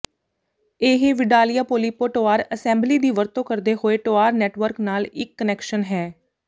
ਇਹ Vidalia Polipo Tor assembly ਦੀ ਵਰਤੋਂ ਕਰਦੇ ਹੋਏ ਟੋਆਰ ਨੈਟਵਰਕ ਨਾਲ ਇੱਕ ਕਨੈਕਸ਼ਨ ਹੈ